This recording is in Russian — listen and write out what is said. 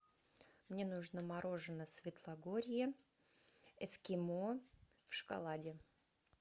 мне нужно мороженое светлогорье эскимо в шоколаде